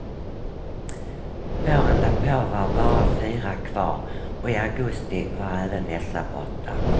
Våren därpå var bara fyra kvar och i augusti var även dessa borta.